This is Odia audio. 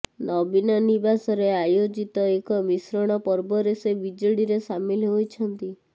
ନବୀନ ନିବାସରେ ଆୟୋଜିତ ଏକ ମିଶ୍ରଣ ପର୍ବରେ ସେ ବିଜେଡିରେ ସାମିଲ ହୋଇଛନ୍ତି